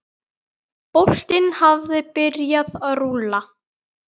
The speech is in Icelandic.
Boltinn hafi byrjað að rúlla.